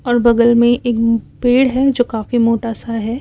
और बगल में एक पेड़ है जो काफी मोटा सा है।